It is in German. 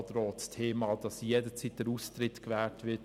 Es gilt auch für das Thema, dass jederzeit der Austritt gewährt wird: